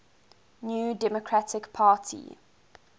new democratic party